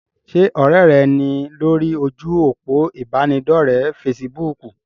Ṣé ọ̀rẹ́ rẹ ní lórí ojú òpó ìbánidọ́rẹ̀ fesibúùkù?